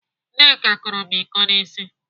Nneka kụrụ m íkó n'ịsị.